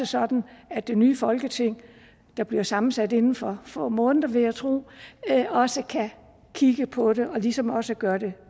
sådan at det nye folketing der bliver sammensat inden for få måneder vil jeg tro også kan kigge på det og ligesom også gøre det